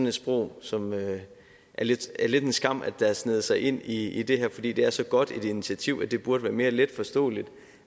et sprog som det lidt er en skam har sneget sig ind i det her fordi det er så godt et initiativ at det burde være mere let forståeligt